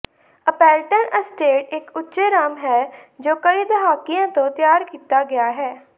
Appleton Estate ਇੱਕ ਉੱਚੇ rum ਹੈ ਜੋ ਕਈ ਦਹਾਕਿਆਂ ਤੋਂ ਤਿਆਰ ਕੀਤਾ ਗਿਆ ਹੈ